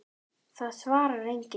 Það svarar enginn